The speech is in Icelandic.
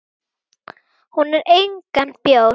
Hún á engan bjór.